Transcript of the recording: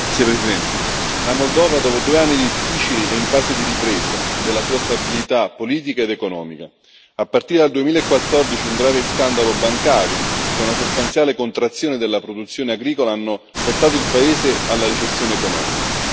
Signor Presidente, onorevoli colleghi, la Moldova, dopo due anni difficili, è in fase di ripresa della sua stabilità politica ed economica. A partire dal 2014, un grave scandalo bancario e una sostanziale contrazione della produzione agricola hanno portato il paese alla recessione economica.